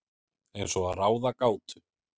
Eins og að ráða gátu.